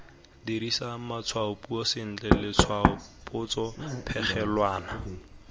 dirisa matshwaopuiso sentle letshwaopotso phegelwana